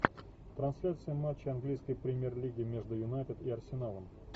трансляция матча английской премьер лиги между юнайтед и арсеналом